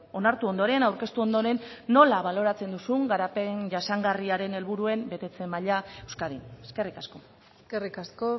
onartu ondoren aurkeztu ondoren nola baloratzen duzun garapen jasangarriaren helburuen betetze maila euskadin eskerrik asko eskerrik asko